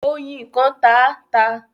Ọyin kàn tá a ta.